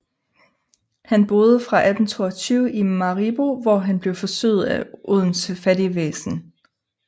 Han boede fra 1822 i Maribo hvor han blev forsøget af Odense fattigvæsen